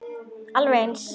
Alveg eins!